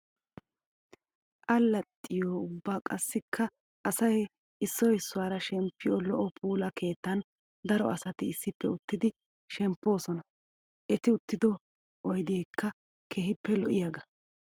Alaxxiyo ubba qassikka asay issoy issuwara shemppiyo lo'o puula keettan daro asatti issippe uttiddi shempposonna. Etti uttiddo oyddekka keehippe lo'iyaaga.